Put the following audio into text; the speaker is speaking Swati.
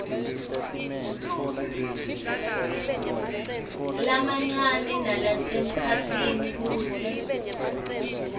lamancane nalasemkhatsini kutsi